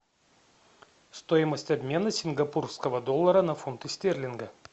стоимость обмена сингапурского доллара на фунты стерлинга